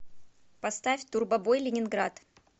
поставь турбобой ленинград